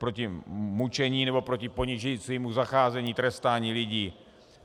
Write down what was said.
Proti mučení nebo proti ponižujícímu zacházení, trestání lidí.